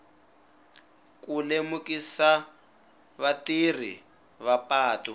ku lemukisa vatirhisi va patu